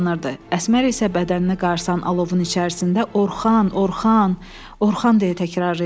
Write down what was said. Əsmər isə bədəninə qarsan alovun içərisində Orxan, Orxan, Orxan deyə təkrarlayırdı.